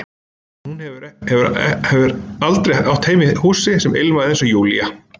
En hún hafði heldur aldrei átt heima í húsi sem ilmaði, eins og Júlía.